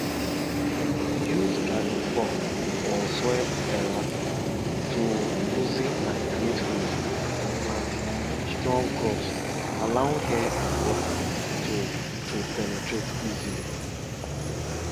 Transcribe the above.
for tales from de north de camel dey teach patience as e dey as e dey cross land wey dey dry and dusty